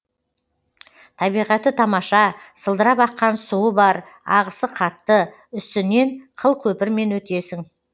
табиғаты тамаша сылдырап аққан суы бар ағысы қатты үстінен қыл көпірмен өтесің